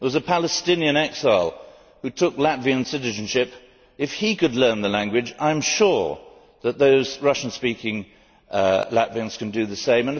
There was a Palestinian exile who took Latvian citizenship. If he could learn the language, I am sure that those Russian speaking Latvians can do the same.